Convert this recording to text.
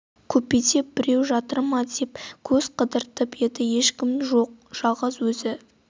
купеде біреу жатыр ма деп көз қыдыртып еді ешкім жоқ жалғыз өзі